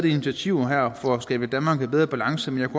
initiativer for at skabe et danmark i bedre balance men